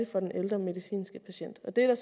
for den ældre medicinske patient og det er